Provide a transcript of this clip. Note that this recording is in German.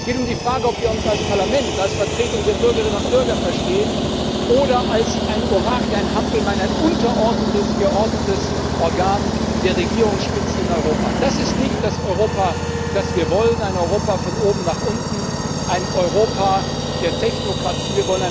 Es geht um die Frage, ob wir uns als Parlament, als Vertretung der Bürgerinnen und Bürger verstehen oder als ein Orakel, ein Hampelmann, ein untergeordnetes Organ der Regierungsspitzen in Europa. Das ist nicht das Europa, das wir wollen, ein Europa von oben nach unten, ein Europa der Technokratie.